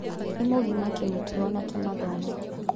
Nĩ mũgima kĩmĩtugo na kĩmathomo.